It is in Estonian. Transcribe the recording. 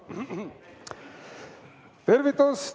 Tervitus!